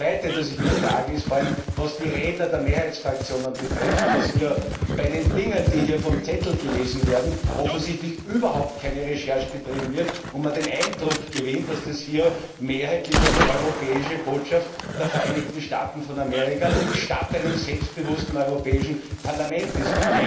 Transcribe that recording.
Das Zweite, das ich mich frage, ist vor allem, was die Redner der Mehrheitsfraktionen betrifft, dass hier bei den Dingen, die hier vom Zettel gelesen werden, offensichtlich überhaupt keine Recherche betrieben wird und man den Eindruck gewinnt, dass das hier mehrheitlich eine europäische Botschaft der Vereinigten Staaten von Amerika statt eines selbstbewussten Europäischen Parlaments ist.